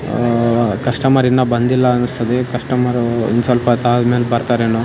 ಆಆಆ customer ಇನ್ನ ಬಂದಿಲ್ಲ ಅನ್ನಸ್ತದೆ ಕಸ್ಟಮರೂ ಇನ್ ಸ್ವಲ್ಪತ್ತಾದ್ಮೇಲ್ ಬರ್ತಾರೇನೋ.